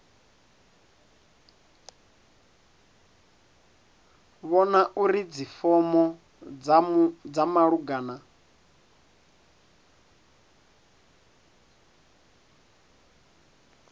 vhona uri dzifomo dza malugana